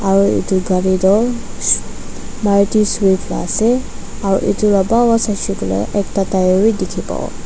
Aro etu gari tuh swif maruti swift la ase aro etu la bhal pa saishe koile tuh ekta tire bhi dekhe pavo.